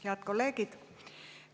Head kolleegid!